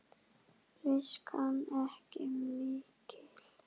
Viskan ekki mikil!